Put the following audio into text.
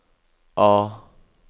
A